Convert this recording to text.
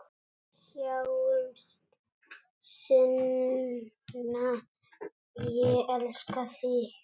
Sjáumst seinna, ég elska þig.